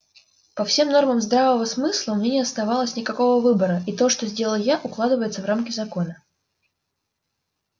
по всем нормам здравого смысла у меня не оставалось никакого выбора и то что сделал я укладывается в рамки закона